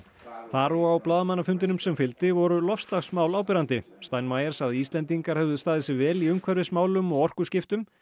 þar og á blaðamannafundinum sem fylgdi voru loftslagsmál áberandi steinmeier sagði að Íslendingar hefðu staðið sig vel í umhverfismálum og orkuskiptum